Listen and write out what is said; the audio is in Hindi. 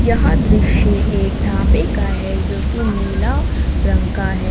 यहां दृश्य एक ढाबे का है जो कि नीला रंग का है।